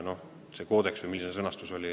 Sa nimetasid seda koodeksit või kuidas see sõnastus oligi.